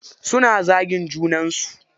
Suna zagin junan su.